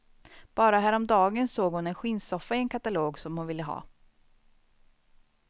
Bara härom dagen såg hon en skinnsoffa i en katalog som hon ville ha.